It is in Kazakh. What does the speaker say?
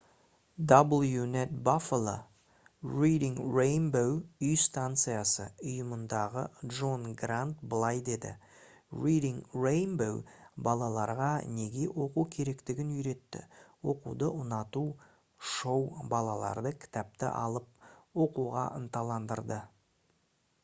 wned buffalo reading rainbow үй станциясы ұйымындағы джон грант былай деді: «reading rainbow балаларға неге оқу керектігін үйретті... оқуды ұнату — [шоу] балаларды кітапты алып оқуға ынталандырды»